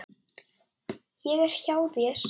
Ég er hjá þér.